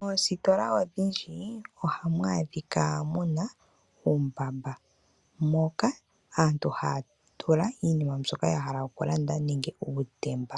Moositola odhindji ohamu adhika muna uumbamba moka aantu haya tula iinima mbyoka yahala okulanda nenge uutemba.